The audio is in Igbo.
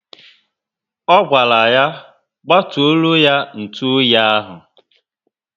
O gwara ya gbaturoo ya ntụ oyi ahu